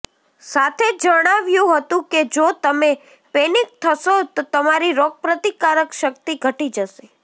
સાથે જ જણાવ્યું હતું કે જો તમે પેનિક થશો તો તમારી રોગપ્રતિકારક શક્તિ ઘટી જશે